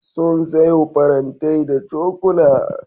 Sun sayo farantai da cokula.